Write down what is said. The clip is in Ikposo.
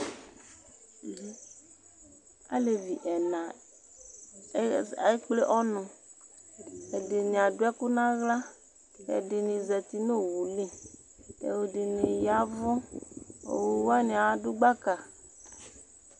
Alevi ɛna a ez ekple ɔnʋ Ɛdɩnɩ adʋ ɛkʋ nʋ aɣla Ɛdɩnɩ zati nʋ owu li kʋ ɛdɩnɩ ya ɛvʋ Owu wanɩ adʋ gbaka